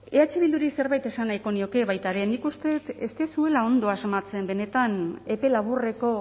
eh bilduri zerbait esan nahiko nioke baita ere nik uste dut ez duzuela ondo asmatzen benetan epe laburreko